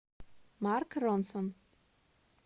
марк ронсон